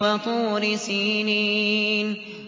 وَطُورِ سِينِينَ